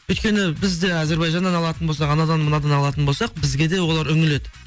өйткені біз де әзірбайжаннан алатын болсақ анадан мынадан алатын болсақ бізге де олар үңіледі